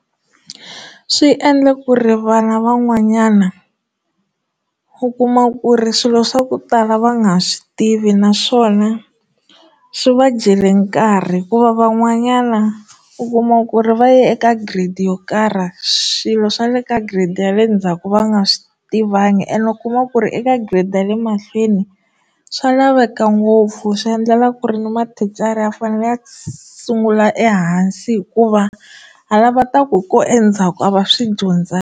Swi endla ku ri vana van'wanyana u kuma ku ri swilo swa ku tala va nga swi tivi naswona swi va jele nkarhi hikuva van'wanyana u kuma ku ri va ya eka grade yo karhi swilo swa le ka grade ya le ndzhaku va nga swi tivangi ene u kuma ku ri eka grade ya le mahlweni swa laveka ngopfu swi endlela ku ri ni mathicara ya fanele ya sungula ehansi hikuva ha la va ta ku endzhaku a va swi dyondzangi.